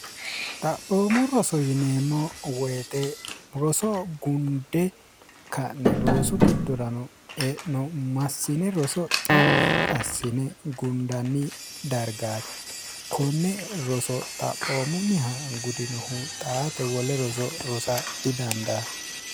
xaphoomu roso yineemmo woyixe roso gunde ka'ne roosu giddorano e'no massine roso xaphi assine gundanni dargaate konne roso xaphoomunniha gudinohu xaate wole roso rosa didandaanno